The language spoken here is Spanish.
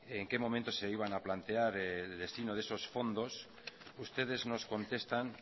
en qué momento se iban a plantear el destino de esos fondos ustedes nos contestan